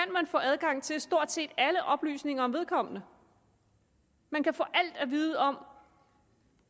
få adgang til stort set alle oplysninger om vedkommende man kan få alt at vide om